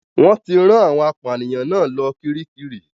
Wọ́n ti rán àwọn apànìyàn náà lọ Kiríkirì.